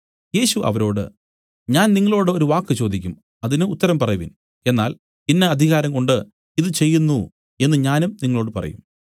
യേശു അവരോട് ഞാൻ നിങ്ങളോടു ഒരു വാക്ക് ചോദിക്കും അതിന് ഉത്തരം പറവിൻ എന്നാൽ ഇന്ന അധികാരംകൊണ്ട് ഇതു ചെയ്യുന്നു എന്നു ഞാനും നിങ്ങളോടു പറയും